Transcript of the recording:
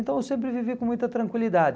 Então eu sempre vivi com muita tranquilidade.